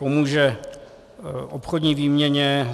Pomůže obchodní výměně.